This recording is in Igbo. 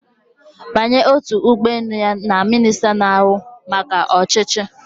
Banye otu ụgbọ elu ya na minista na-ahụ maka ọchịchị